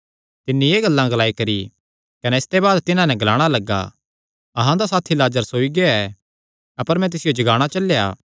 तिन्नी एह़ गल्लां ग्लाई करी कने इसते बाद तिन्हां नैं ग्लाणा लग्गा अहां दा साथी लाजर सोई गेआ ऐ अपर मैं तिसियो जगाणा चलेया